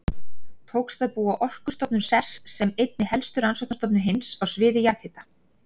Tókst að búa Orkustofnun sess sem einni helstu rannsóknastofnun heims á sviði jarðhita.